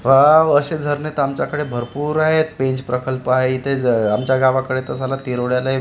wow असे झरणे तर आमच्याकडे भरपूर आहेत पेंच प्रकल्प आहेत इथे ज आमच्या गावाकडे तर साला तेरवडेला हे --